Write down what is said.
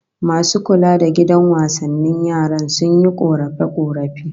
Masu kula da gidan wasannin yaran, sun yi korafe-korafe